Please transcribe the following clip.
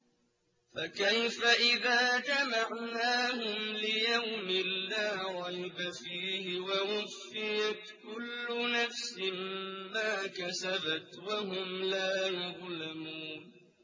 فَكَيْفَ إِذَا جَمَعْنَاهُمْ لِيَوْمٍ لَّا رَيْبَ فِيهِ وَوُفِّيَتْ كُلُّ نَفْسٍ مَّا كَسَبَتْ وَهُمْ لَا يُظْلَمُونَ